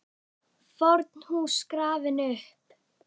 FORN HÚS GRAFIN UPP